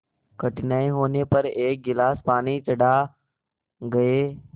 कठिनाई होने पर एक गिलास पानी चढ़ा गए